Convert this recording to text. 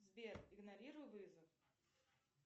сбер игнорируй вызов